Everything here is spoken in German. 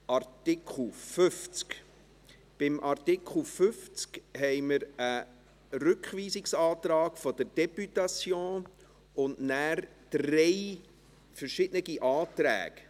Bei Artikel 50 haben wir einen Rückweisungsantrag der Députation und danach drei verschiedene Anträge.